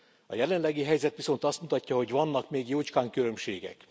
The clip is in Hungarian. A jelenlegi helyzet viszont azt mutatja, hogy vannak még jócskán különbségek.